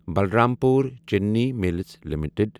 Balrampur Chini mills limited